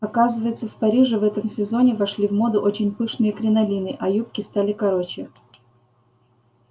оказывается в париже в этом сезоне вошли в моду очень пышные кринолины а юбки стали короче